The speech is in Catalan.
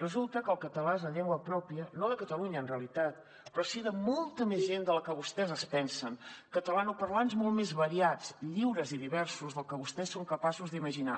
resulta que el català és la llengua pròpia no de catalunya en realitat però sí de molta més gent de la que vostès es pensen catalanoparlants molt més variats lliures i diversos del que vostès són capaços d’imaginar